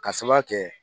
K'a sababuya kɛ